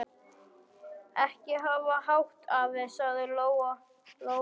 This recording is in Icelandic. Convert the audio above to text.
Ekki hafa hátt, afi, sagði Lóa Lóa.